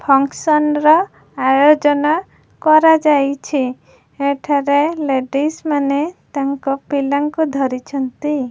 Function ର ଆୟୋଜନ କରା ଯାଇଚି ଏଠାରେ ଲେଡ଼ିଜ୍ ମାନେ ତାଙ୍କ ପିଲାଙ୍କୁ ଧରିଛନ୍ତି।